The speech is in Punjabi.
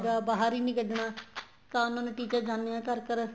ਹੈਗਾ ਬਹਾਰ ਹੀ ਨਹੀਂ ਕੱਢਣਾ ਤਾਂ ਉਹਨਾ ਦੇ teacher ਜਾਣੇ ਏ ਘਰ ਘਰ